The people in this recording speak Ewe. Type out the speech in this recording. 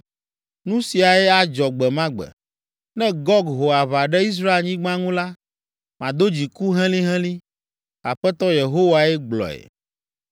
Nu siae adzɔ gbe ma gbe. Ne Gog ho aʋa ɖe Israelnyigba ŋu la, mado dziku helĩhelĩ; Aƒetɔ Yehowae gblɔe.